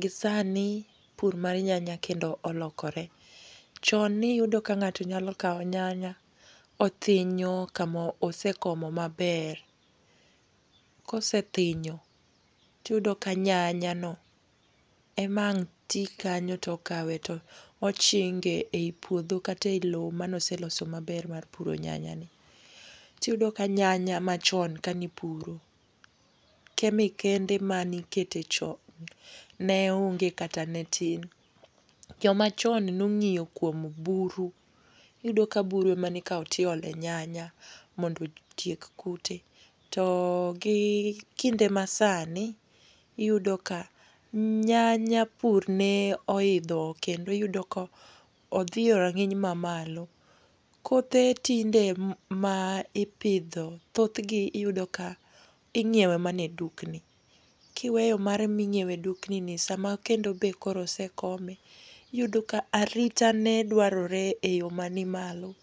Gi sani, pur mar nyanya kendo olokore. Chon niyudo ka ng'ato nyalo kawo nyanya, othinyo kama osekomo maber. Kosethinyo, tiyudo ka nyanyano ema ang' ti kanyo to okawe to ochinge ei puodho kata ei lowo mane oseloso maber mar puro nyanyani. Tiyudo ka nyanya machon kanipuro. Kemikende ma nikete chon ne onge kata ne tin. Jomachon nong'iyo kuom buru. Iyudo ka buru e ma nikawo tiolo e nyanya mondo otiek kute. To gi kinde masani, iyudoka nyanya pur ne oidho kendo iyudo ka odhi yo rang'iny mamalo. Kothe tinde ma ipidho thoth gi iyudoka ing'iewe mana e dukni. Kiweyo mar minyiewe dukni ni, sama kendo be koro osekome, iyudoka arita ne dwarore e yo manimalo.